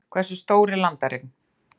Hversu stór er landareign?